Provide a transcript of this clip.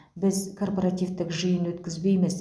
біз корпоративтік жиын өткізбейміз